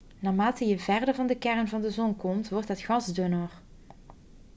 naarmate je verder van de kern van de zon komt wordt het gas dunner